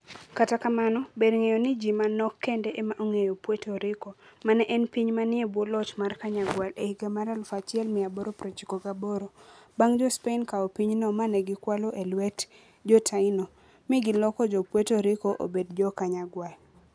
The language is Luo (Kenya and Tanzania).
Kata kamano, ber ng'eyo ni, ji manok kende ema ong'eyo Puerto Rico, ma ne en piny manie bwo loch mar Kanyagwal e higa mar 1898 bang ' Jo - Spain kawo pinyno ma ne gikwalo e lwet Jo - Taino, mi giloko Jo - Puerto Rico obed Jo - Kanyagwal